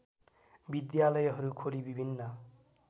विद्यालयहरू खोली विभिन्न